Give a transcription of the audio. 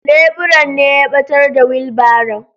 Leburan ne ya ɓatar da wilbaron.